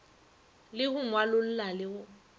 le go ngwalolla le go